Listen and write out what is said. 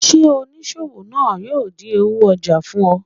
Ṣe oniṣowo naa yoo din owo ojà fun o?